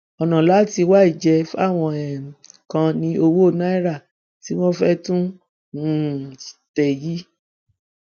ọnà láti wá ìjẹ fáwọn um kan ní owó náírà tí wọn fẹẹ tún um tẹ yìí